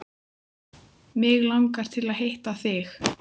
Mig langar til að hitta þig.